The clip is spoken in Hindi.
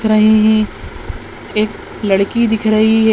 -- रहे है एक लड़की दिख रही है।